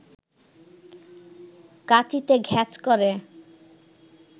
কাঁচিতে ঘ্যাঁচ করে